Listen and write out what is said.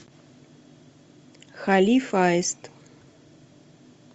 халиф аист